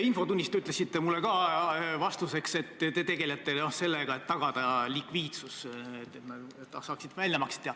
Infotunnis ütlesite te mulle vastuseks, et tegelete sellega, et tagada likviidsus ja et saaks teha väljamakseid.